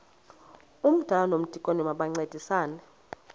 umdala nomdikoni bayancedisana